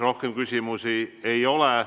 Rohkem küsimusi ei ole.